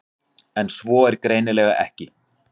En svo er greinilega ekki.